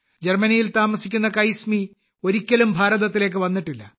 ജർമ്മനിയിൽ താമസിക്കുന്ന കൈസ്മി ഒരിക്കലും ഭാരതത്തിലേക്ക് വന്നിട്ടില്ല